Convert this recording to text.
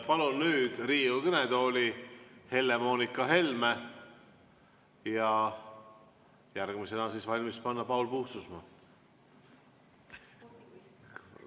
Palun nüüd Riigikogu kõnetooli Helle-Moonika Helme ja järgmisena valmis panna Paul Puustusmaa.